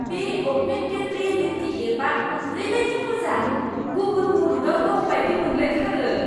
बे augmented reality एपआ ओरैबायदि मोजां! गुबुन मुलुगआव दं बायदि मोनलायथारो!